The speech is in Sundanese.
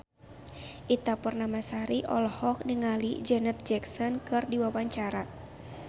Ita Purnamasari olohok ningali Janet Jackson keur diwawancara